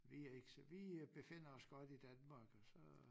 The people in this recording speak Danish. Vi er ikke så vi øh befinder os godt i Danmark så